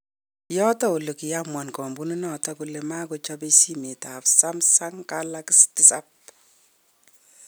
Yoto ole kii amuan kampuninoto kole makochobe simet ab Sumsung Kalaksi 7